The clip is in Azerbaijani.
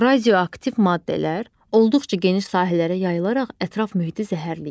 Radioaktiv maddələr olduqca geniş sahələrə yayılaraq ətraf mühiti zəhərləyir.